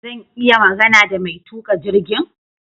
Zan iya magana da mai tuka jirgin?